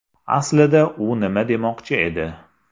Aslida u nima demoqchi edi?